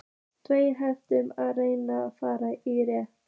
Tveir hnefar af rækjum fara í réttinn.